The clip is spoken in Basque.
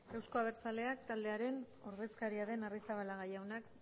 euzko abertzaleak taldearen ordezkaria den arrizabalaga